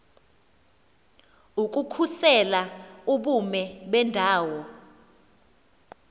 ukukhusela ubume bendawo